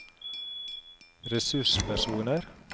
ressurspersoner